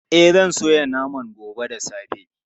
E, zan soya naman gobe da safe.